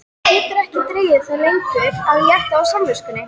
Getur ekki dregið það lengur að létta á samviskunni.